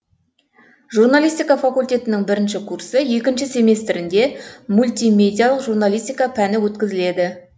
журналистка факультетінің бірінші курсы екінші семестрінде мультимедиялық журналистика пәні өткізіледі